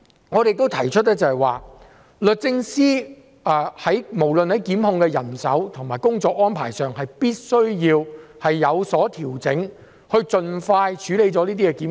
我們亦提出律政司在檢控人手和工作安排上也必須有所調整，以盡快處理這些檢控。